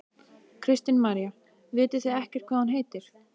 Kristín María: Vitið þið ekkert hvað hún heitir?